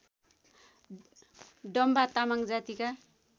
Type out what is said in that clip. डम्बा तामाङ जातिका